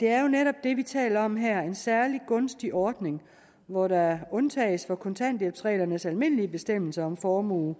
det er jo netop det vi taler om her altså en særlig gunstig ordning hvor der undtages fra kontanthjælpsreglernes almindelige bestemmelser om formue